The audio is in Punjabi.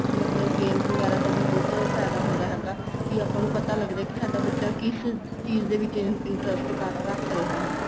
ਮਤਲਬ games ਵਗੈਰਾ ਦਾ ਬਹੁਤ ਫਾਇਦਾ ਹੁੰਦਾ ਹੈਗਾ ਕੀ ਆਪਾਂ ਨੂੰ ਪਤਾ ਲੱਗਦਾ ਕੀ ਸਾਡਾ ਬੱਚਾ ਕਿਸ ਚੀਜ਼ ਦੇ ਵਿੱਚ interest ਰੱਖ ਰਿਹਾ ਹੈਗਾ